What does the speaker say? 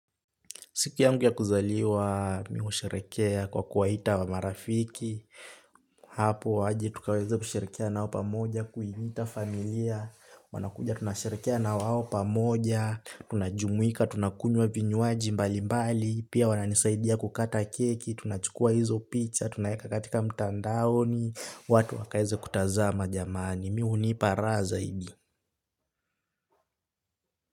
Siku yangu ya kuzaliwa, mi husherekea kwa kuwaita wa marafiki. Hapo waje tukaweze kusherekea nao pamoja, kuiita familia. Wanakuja tunasherekea na wao pamoja. Tunajumuika, tunakunywa vinywaji mbalimbali. Pia wananisaidia kukata keki, tunachukua hizo picha, tunaeka katika mtandaoni. Watu wakaeze kutazama jamani. Mi hunipa raa zaidi.